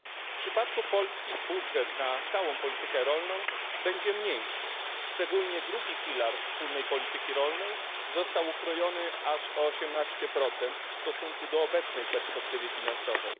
W przypadku Polski budżet na całą politykę rolną będzie mniejszy, szczególnie drugi filar wspólnej polityki rolnej został okrojony aż o 18 w stosunku do obecnej perspektywy finansowej.